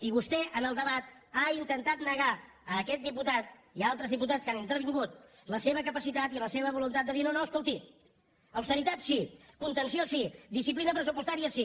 i vostè en el debat ha intentat negar a aquest diputat i a altres diputats que han intervingut la seva capacitat i la seva voluntat de dir no no escolti austeritat sí contenció sí disciplina pressupostària sí